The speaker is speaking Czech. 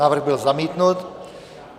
Návrh byl zamítnut.